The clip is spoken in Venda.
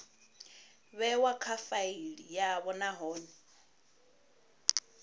vhewa kha faili yavho nahone